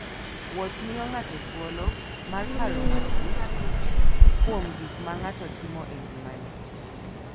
Wuoth miyo ng'ato thuolo mar paro matut kuom gik ma ng'ato timo e ngimane.